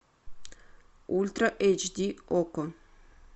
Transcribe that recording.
ультра эйч ди окко